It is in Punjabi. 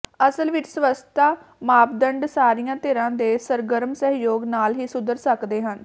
ਅਸਲ ਵਿਚ ਸਵੱਛਤਾ ਮਾਪਦੰਡ ਸਾਰੀਆਂ ਧਿਰਾਂ ਦੇ ਸਰਗਰਮ ਸਹਿਯੋਗ ਨਾਲ ਹੀ ਸੁਧਰ ਸਕਦੇ ਹਨ